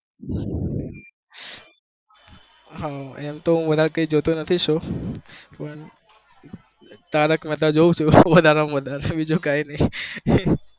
હા અમ તો હું વધાર કય જોતો નથી show પમ તારક મહેતા જોઉં છુ વધારે માં વધારે